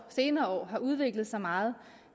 senere år har udviklet sig meget